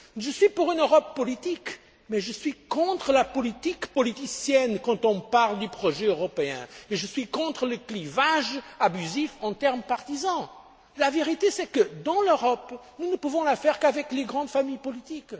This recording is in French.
grand défi. Je suis pour une Europe politique mais je suis contre la politique politicienne quand on parle du projet européen. Et je suis contre le clivage abusif en termes partisans. La vérité, c'est que l'Europe, nous ne pouvons la faire qu'avec les grandes familles